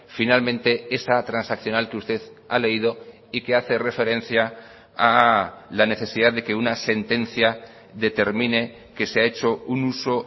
finalmente esa transaccional que usted ha leído y que hace referencia a la necesidad de que una sentencia determine que se ha hecho un uso